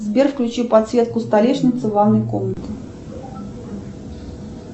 сбер включи подсветку столешницы в ванной комнате